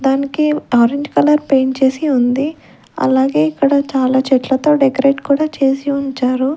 దానికి orange colour paint చేసి ఉంది అలాగే ఇక్కడ చాలా చెట్లతో డెకరేట్ కూడా చేసి ఉంచారు.